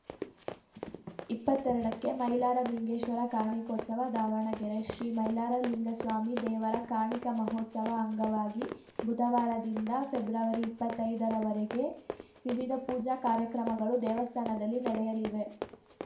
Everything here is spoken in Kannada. ಇಪ್ಪತ್ತೆರಡಕ್ಕೆ ಮೈಲಾರ ಲಿಂಗೇಶ್ವರ ಕಾರ್ಣಿಕೋತ್ಸವ ದಾವಣಗೆರೆ ಶ್ರೀ ಮೈಲಾರ ಲಿಂಗಸ್ವಾಮಿ ದೇವರ ಕಾರ್ಣಿಕ ಮಹೋತ್ಸವ ಅಂಗವಾಗಿ ಬುಧವಾರದಿಂದ ಫೆಬ್ರವರಿಇಪ್ಪತ್ತೈದರವರೆಗೆ ವಿವಿಧ ಪೂಜಾ ಕಾರ್ಯಕ್ರಮಗಳು ದೇವಸ್ಥಾನದಲ್ಲಿ ನಡೆಯಲಿವೆ